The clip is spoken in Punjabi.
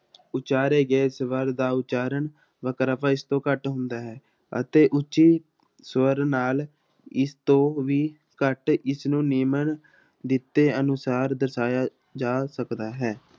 ਉਚਾਰੇ ਗਏ ਸਵਰ ਦਾ ਉਚਾਰਨ ਵਖਰੇਵਾ ਇਸਤੋਂ ਘੱਟ ਹੁੰਦਾ ਹੈ ਅਤੇ ਉੱਚੀ ਸਵਰ ਨਾਲ ਇਸ ਤੋਂ ਵੀ ਘੱਟ ਇਸਨੂੰ ਨਿਮਨ ਦਿੱਤੇ ਅਨੁਸਾਰ ਦਰਸਾਇਆ ਜਾ ਸਕਦਾ ਹੈ।